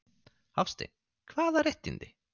Hafsteinn: Hvaða réttindi?